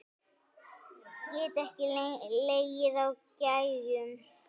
Get ekki legið á gægjum.